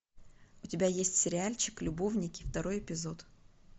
у тебя есть сериальчик любовники второй эпизод